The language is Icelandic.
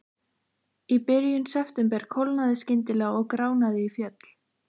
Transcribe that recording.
Í byrjun september kólnaði skyndilega og gránaði í fjöll.